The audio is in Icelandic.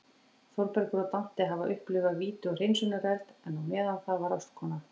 Þórbergur og Dante hafa upplifað víti og hreinsunareld, en á meðan það var ástkona